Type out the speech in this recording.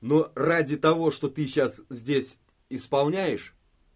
но ради того что ты сейчас здесь исполняешь